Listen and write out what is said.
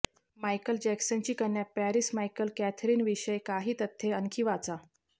Michael जॅक्सनची कन्या Paris Michael Katherine विषयी काही तथ्ये आणखी वाचा